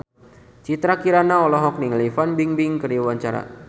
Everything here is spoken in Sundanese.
Citra Kirana olohok ningali Fan Bingbing keur diwawancara